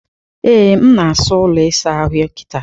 Ee, m na-asa ụlọ ịsa ahụ kịta.